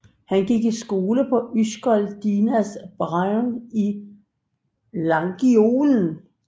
Han gik i skole på Ysgol Dinas Brân i Llangollen